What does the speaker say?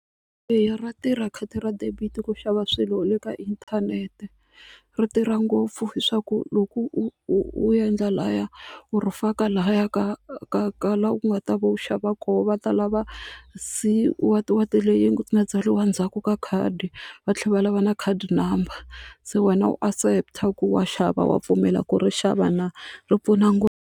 Eya ra tirha khadi ra debit ku xava swilo le ka inthanete ri tirha ngopfu leswaku loko u endla lahaya u faka lahaya ka ka ka laha ku nga ta va u xava va kona va ta lava C what what leyi nga tsariwa ndzhaku ka khadi va tlhela va lava na khadi number se wena u accept ku wa xava wa pfumela ku ri xava na ri pfuna ngopfu.